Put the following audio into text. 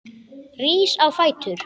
Rís á fætur.